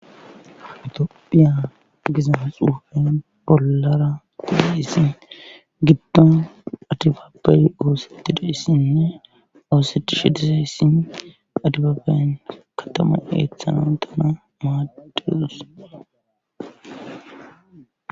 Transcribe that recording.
itoophiya gizamxuufen bollara kulessi giddon adifape oossetti doessinne oosech shidisessin adibaben katamu eeththano dana maadidus